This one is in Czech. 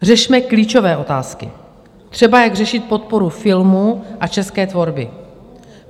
Řešme klíčové otázky, třeba jak řešit podporu filmu a české tvorby.